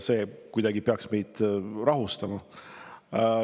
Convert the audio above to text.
See ei peaks kuidagi meid maha rahustama.